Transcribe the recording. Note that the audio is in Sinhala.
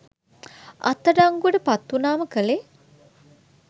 අත් අඩංගුවට පත් වුනාම කලේ